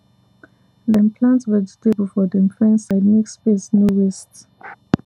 dem plant vegetable for dem fence side make space no waste